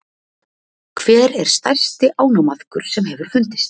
Hver er stærsti ánamaðkur sem hefur fundist?